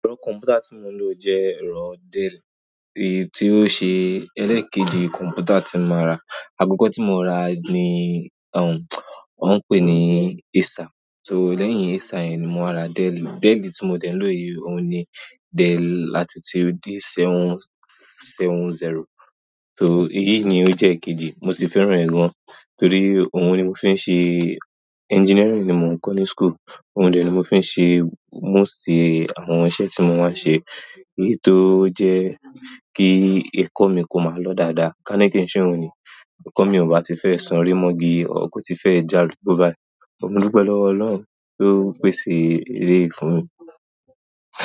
Ẹ̀rọ kọ̀m̀pútà tí mò ń lo jẹ́ ẹ̀rọ Dell, èyí tí ó ṣe ẹlẹ́ẹ̀kejì kọ̀m̀pútà tí mo máa rà. Àkọ́kọ́ tí mo rà ní, ọ̀ ń pè é ní Acer, sò lẹ́yìn Acer yẹn ni mo wáa ra Dell. Dell ti mo de n lo yi ohun ni, dell latitude D770 èyí ni o je eekeji mo si fẹ́ràn e gan engineering ni mo n ko ni school ohun de ni mo fi n se most àwọn iṣẹ́ ti mo maa n se èyí tó jẹ́ kí ẹ̀kọ́ mi kò máa lọ dáadáa, kání kí ń ṣè ohun ni, ẹ̀kọ́ mi ò bá ti fẹ́ so rí mọ́gí, ò kú ti fẹ́ já lú gbó bàáyí. Mò dupe lọ́wọ́ Ọlọ́run tó pè ṣe èleyìí fún mi.